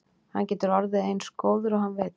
Hann getur orðið eins góður og hann vill.